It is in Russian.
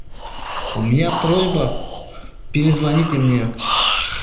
у меня просьба перезвоните мне